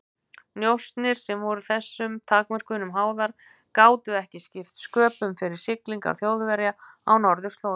Njósnir, sem voru þessum takmörkunum háðar, gátu ekki skipt sköpum fyrir siglingar Þjóðverja á norðurslóðum.